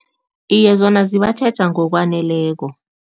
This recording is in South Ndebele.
Iye, zona zibatjheja ngokwaneleko.